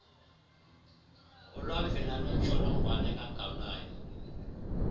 ulwamvila lwentsholongwane kagawulayo